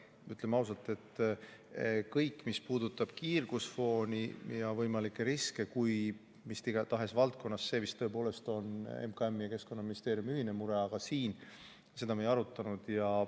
Ütleme ausalt, et kõik, mis puudutab kiirgusfooni ja võimalikke riske mis tahes valdkonnas, on vist tõepoolest MKM-i ja Keskkonnaministeeriumi ühine mure, aga siin me seda ei arutanud.